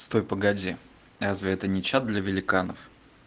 стой погоди разве это не чат для великанов